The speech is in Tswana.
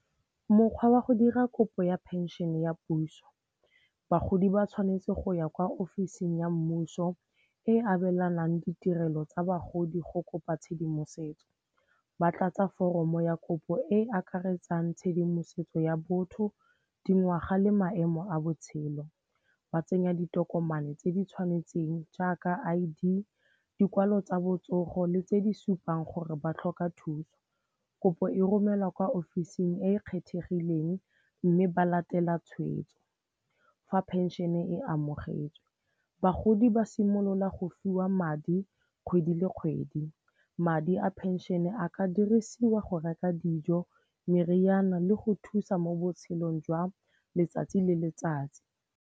Mokgwa wa go dira kopo ya phenšene ya puso, bagodi ba tshwanetse go ya kwa ofising ya mmuso e abelanang ditirelo tsa bagodi go kopa tshedimosetso. Ba tlatsa foromo ya kopo e e akaretsang tshedimosetso ya botho, dingwaga le maemo a botshelo. Ba tsenya ditokomane tse di tshwanetseng jaaka I_D, dikwalo tsa botsogo le tse di supang gore ba tlhoka thuso. Kopo e romelwa kwa ofising e e kgethegileng mme ba latela tshwetso. Fa phenšene e amogetswe, bagodi ba simolola go fiwa madi kgwedi le kgwedi, madi a phenšene a ka dirisiwa go reka dijo, meriana le go thusa mo botshelong jwa letsatsi le letsatsi.